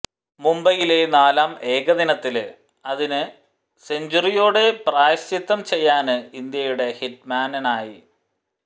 മുംബൈയിലെ നാലാം ഏകദിനത്തില് അതിന് സെഞ്ചുറിയോടെ പ്രായശ്ചിത്തം ചെയ്യാന് ഇന്ത്യയുടെ ഹിറ്റ്മാനായി